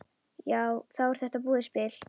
Þá er þetta búið spil.